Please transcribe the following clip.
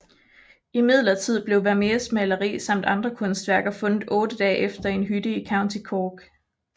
Imidlertid blev Vermeers maleri samt andre kunstværker fundet otte dage efter i en hytte i County Cork